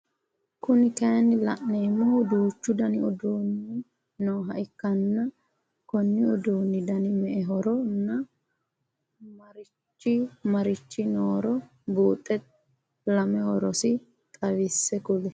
Kuni kaayinni laneemohu? duuchchu Dani uduhnni nooha ikkanna Konni uduunni Dani me'ehoronna marichi marichi nooro buuxe lame horosi xawisse kuli